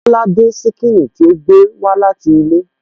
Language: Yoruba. Bọ́lá dín ṣíkìnnì tí ó gbé wá láti ilé